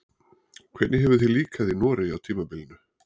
Hvernig hefur þér líkað í Noregi á tímabilinu?